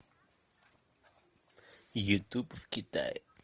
ютуб в китае